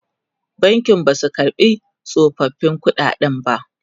bankin Basu karɓa tsofaffin ƙuɗaden ba